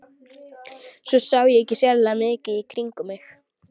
Svo ég sá ekki sérlega mikið í kringum mig.